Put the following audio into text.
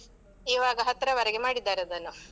ಇವಾಗ ಹತ್ರವರೆಗೆ ಮಾಡಿದ್ದಾರದನ್ನು.